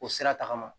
O sira tagama